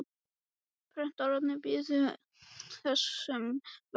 Bretarnir biðu þess sem verða vildi.